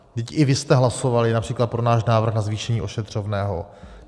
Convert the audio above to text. Vždyť i vy jste hlasovali například pro náš návrh na zvýšení ošetřovného.